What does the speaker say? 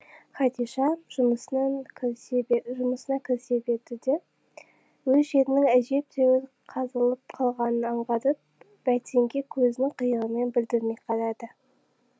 хадиша жұмысына кірісе берді де өз жерінің әжептәуір қазылып қалғанын аңғарып бәйтенге көзінің қиығымен білдірмей қарайды